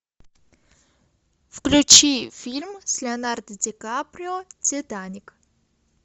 включи фильм с леонардо дикаприо титаник